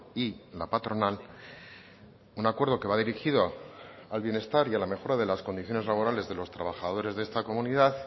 y la patronal un acuerdo que va dirigido al bienestar y a la mejora de las condiciones laborales de los trabajadores de esta comunidad